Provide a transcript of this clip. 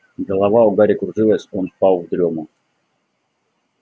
голова у гарри кружилась он впал в дрёму